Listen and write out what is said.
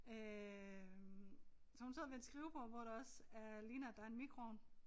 Øh så hun sidder ved et skrivebord hvor der også er ligner at der er en mikroovn